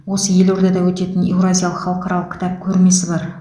осы елордада өтетін еуразиялық халықаралық кітап көрмесі бар